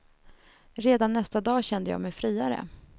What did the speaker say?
Redan nästa dag kände jag mig friare.